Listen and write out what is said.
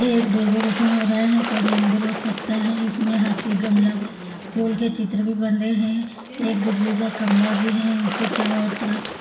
ये एक डेकोरेशन हो रहा है ये कोई मंदिर हो सकता है इसमें हाथी गमला फुल के चित्र भी बन रहे है एक बिजली का खंभा भी है इसे चारो और तरफ--